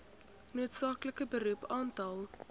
noodsaaklike beroep aantal